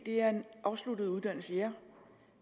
er en afsluttet uddannelse